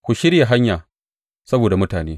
Ku shirya hanya saboda mutane.